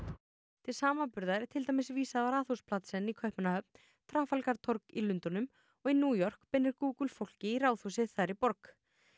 til samanburðar er til dæmis vísað á Radhuspladsen í Kaupmannahöfn í Lundúnum og í New York beinir Google fólki í Ráðhúsið þar í borg